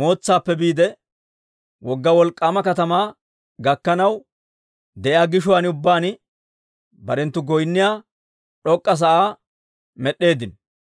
mootsaappe biide, wogga wolk'k'aama katamaa gakkanaw de'iyaa gishuwaan ubbaan barenttu goynniyaa d'ok'k'a sa'aa med'd'eeddino.